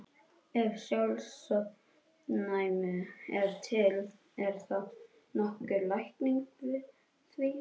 Ef sjálfsofnæmi er til, er þá nokkur lækning við því?